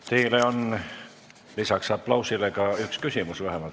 Teile on lisaks aplausile ka vähemalt üks küsimus.